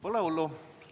Pole hullu.